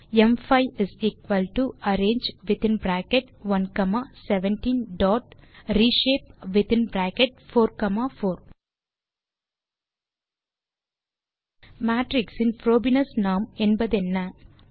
ம்5 arange within bracket 1 comma 17 dot reshape within bracket 4 comma 4 matrix in Frobenius norm என்பதென்ன